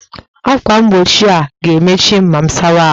Ákwà mgbochi a ga-emechi m ma m sawa ahụ?